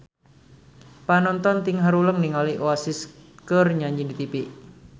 Panonton ting haruleng ningali Oasis keur nyanyi di tipi